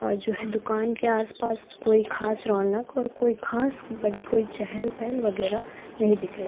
और जो हैं दुकान के आस पास कोई खास रौनक और कोई खास बड़ी कोई चहल पहल वगैरह नहीं दिख रही।